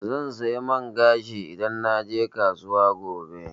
Zan saya man gashi idan naje kasuwa gobe.